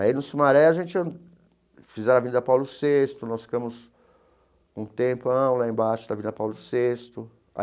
Aí no Sumaré a gente... fizeram Avenida Paulo Sexto, nós ficamos um tempão lá embaixo da Avenida Paulo Sexto.